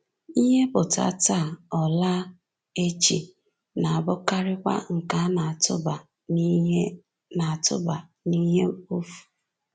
Ihe ‘pụta’ taa, ọ ‘laa’ echi, na-abụkarịkwa nke a na-atụba n’ihe na-atụba n’ihe mkpofu.